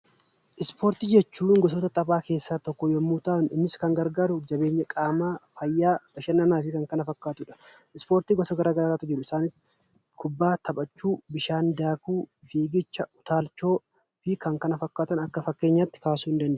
Ispoortii jechuun gosoota taphaa keessaa tokko yommuu ta'an, innis kan gargaaru jabeenya qaamaa, fayyaa, bashannanaa fi kan kana fakkaatudha. Ispoortii gosa garaa garaatu jiru. Isaanis kubbaa taphachuu, bishaan daakuu, fiigicha, utaalchoo fi kan kana fakkaatan akka fakkeenyaatti kaasuu ni dandeenya.